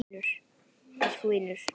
Elsku vinur!